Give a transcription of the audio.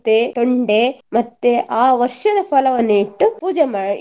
ತೊಂಡೆ ಮತ್ತೆ ಆ ವರ್ಷದ ಫಲವನ್ನು ಇಟ್ಟು ಪೂಜೆ ಮಾ~